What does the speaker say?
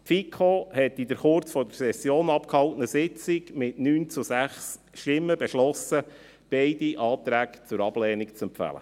Die FiKo hat in der kurz vor der Session abgehaltenen Sitzung mit 9 zu 6 Stimmen beschlossen, beide Anträge zur Ablehnung zu empfehlen.